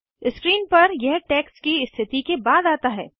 screen पर यह text की स्थिति के बाद आता है